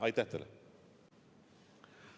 Aitäh teile!